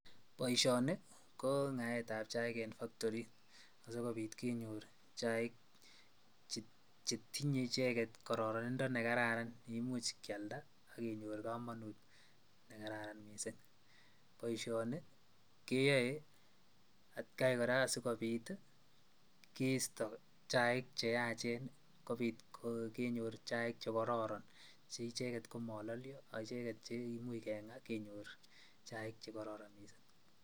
Boishoni ko ngaetab chaik en factory asikobiit kenyor chaik chetinye icheket kororonindo nekararan neimuch kialda ak kenyor komonut nekararan mising, boishoni keyoe atkai kora sikeisto chaik cheachen kobiit kenyor chaik chekororon cheicheket komololio ak acheket che imuch keng'a kenyor chaik chekororon mising.